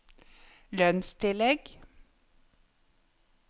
lønnstillegg